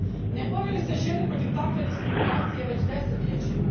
Ne bore li se žene protiv takve diskriminacije već desetljećima?